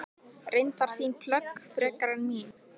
Reyndar þín plögg frekar en mín.